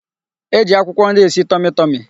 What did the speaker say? E ji akwụkwọ nri esi tọmị tọmị.